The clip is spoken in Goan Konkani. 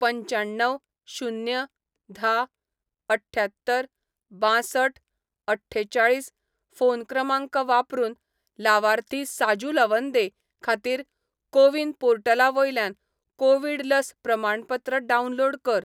पंच्याण्णव शून्य धा अठ्ठ्यात्तर बांसठअठ्ठेचाळीस फोन क्रमांक वापरून लावार्थी साजू लवंदे खातीर को विन पोर्टला वयल्यान कोवीड लस प्रमाणपत्र डावनलोड कर